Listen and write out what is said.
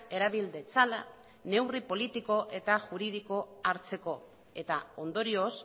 erabil ditzala neurri politiko eta juridikoak hartzeko eta ondorioz